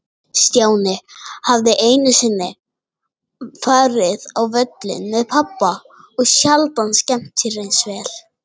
Stjáni hafði einu sinni farið á völlinn með pabba og sjaldan skemmt sér eins vel.